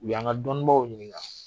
U y 'an ka dɔnnibaw ɲininka.